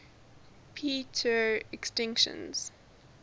p tr extinction